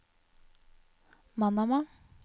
Manama